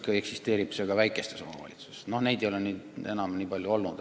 Ka eksisteerib see väikestes omavalitsustes, kuigi sellest pole nii palju räägitud.